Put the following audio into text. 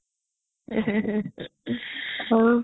ହଉ